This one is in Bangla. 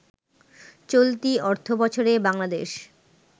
চলতি অর্থবছরে বাংলাদেশে